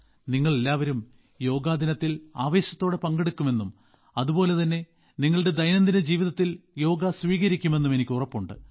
നിങ്ങളെല്ലാവും യോഗാ ദിനത്തിൽ ആവേശത്തോടെ പങ്കെടുക്കുമെന്നും അതുപോലെതന്നെ നിങ്ങളുടെ ദൈനംദിന ജീവിതത്തിന്റെ യോഗ സ്വീകരിക്കുമെന്നും എനിക്ക് ഉറപ്പുണ്ട്